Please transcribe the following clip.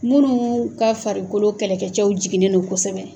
Minnu ka farikolo kɛlɛkɛcɛw jiginignen don kosɛbɛ.